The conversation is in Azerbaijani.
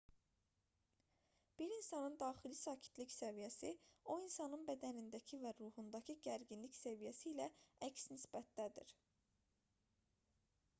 bir insanın daxili sakitlik səviyyəsi o insanın bədənindəki və ruhundakı gərginlik səviyyəsi ilə əks nisbətdədir